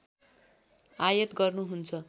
आयात गर्नुहुन्छ